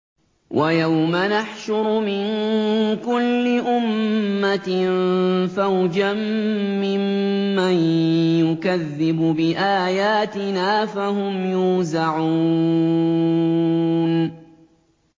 وَيَوْمَ نَحْشُرُ مِن كُلِّ أُمَّةٍ فَوْجًا مِّمَّن يُكَذِّبُ بِآيَاتِنَا فَهُمْ يُوزَعُونَ